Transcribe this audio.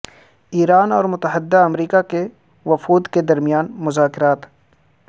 ایران اور متحدہ امریکہ کے وفود کے درمیان مذاکرات